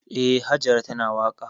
Eh, Hajara tana waƙa.